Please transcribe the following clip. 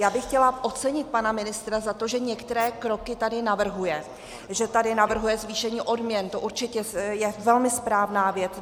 Já bych chtěla ocenit pana ministra za to, že některé kroky tady navrhuje, že tady navrhuje zvýšení odměn, to určitě je velmi správná věc.